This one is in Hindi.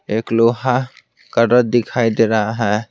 एक लोहा का रत दिखाई दे रहा है।